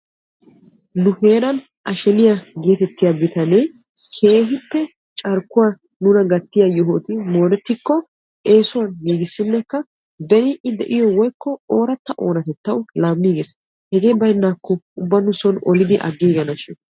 nu heeran asheniyaa getettiya bitanee keehippe carkkuwa nuna gattiya yohoti mooretikko eessuwan gigissinekka ben I de'iyo woykko ooratta oonatettaw laamigees. hegee baynnakko ubba nu soon oliddi aggiiganashin.